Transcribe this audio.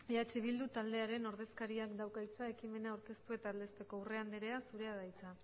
eh bildu taldearen ordezkariak dauka hitza ekimena aurkeztu eta aldezteko urrea anderea zurea da hitza